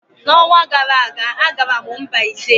N'ọnwa gara aga, agara m Mbaise.